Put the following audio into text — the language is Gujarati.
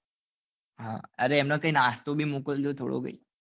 હા અરે એમને કે નાસ્તો બી મોકલજો થોડો કઈ